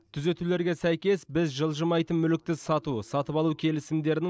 түзетулерге сәйкес біз жылжымайтын мүлікті сату сатып алу келісімдерінің